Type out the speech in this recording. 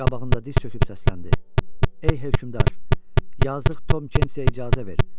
Qabağında diz çöküb səsləndi: “Ey hökmdar, yazıq Tom Kentsiyə icazə ver.